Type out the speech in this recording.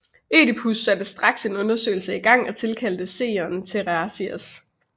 Ødipus satte straks en undersøgelse i gang og tilkaldte seeren Teiresias